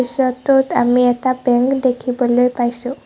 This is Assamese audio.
দৃশ্যটোত আমি এটা বেংক দেখিবলৈ পাইছোঁ।